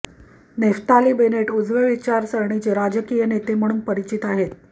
Naftali Bennett उजव्या विचारसरणीचे राजकीय नेते म्हणून परिचित आहेत